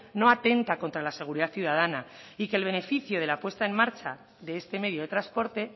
no atenta contra la seguridad ciudadana y que el beneficio de la puesta en marcha de este medio de transporte